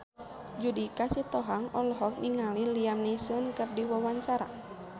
Judika Sitohang olohok ningali Liam Neeson keur diwawancara